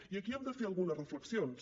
i aquí hem de fer algunes reflexions